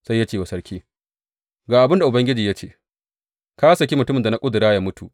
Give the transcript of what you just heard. Sai ya ce wa sarki, Ga abin da Ubangiji ya ce, Ka saki mutumin da na ƙudura yă mutu.